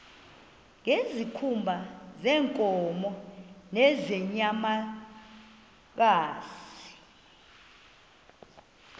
ngezikhumba zeenkomo nezeenyamakazi